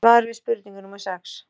Svar við spurningu númer sex